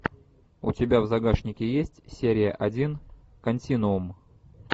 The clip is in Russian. у тебя в загашнике есть серия один континуум